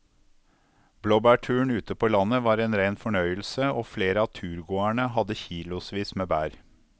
Blåbærturen ute på landet var en rein fornøyelse og flere av turgåerene hadde kilosvis med bær.